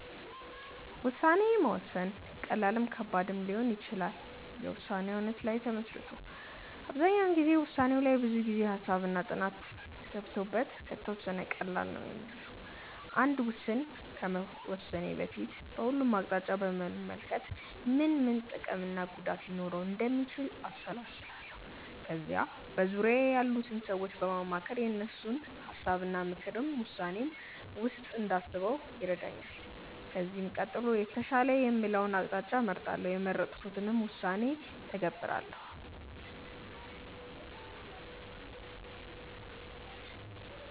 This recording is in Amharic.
ውሳኔ መወሰን ቀላልም ከባድም ሊሆን ይችላል የውሳኔው አይነት ላይ ተመስርቶ። አብዛኛው ጊዜ ውሳኔው ላይ ብዙ ጊዜ፣ ሃሳብ እና ጥናት ገብቶበት ከተወሰነ ቀላል ነው ሚሆነው። አንድ ውስን ከመወሰኔ በፊት በሁሉም አቅጣጫ በመመልከት ምን ምን ጥቅም እና ጉዳት ሊኖረው እንደሚችል አሰላስላለው። ከዛ በዙርያዬ ያሉትን ሰዎች በማማከር የእነሱን ሀሳብ እና ምክርን ውሳኔዬ ውስጥ እንዳስበው ይረዳኛል። ከዚህም ቀጥሎ የተሻለ የምለውን አቅጣጫ እመርጣለው። የመረጥኩትንም ውሳኔ እተገብራለው።